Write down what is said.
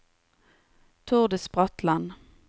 Tordis Bratland